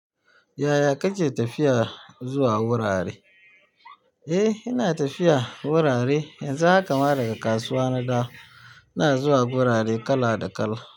Yaya kake tafiya zuwa wurarai? Eh ina tafiya wurare, yanzu haka ma daga kasuwa na dawo. Ina zuwa gurare kala da kala.